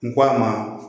N ko a ma